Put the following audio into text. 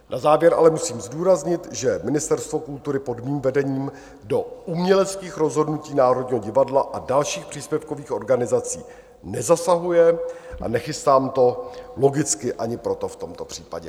Na závěr ale musím zdůraznit, že Ministerstvo kultury pod mým vedením do uměleckých rozhodnutí Národního divadla a dalších příspěvkových organizací nezasahuje, a nechystám to logicky ani proto v tomto případě.